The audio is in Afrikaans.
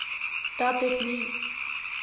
dat dit nie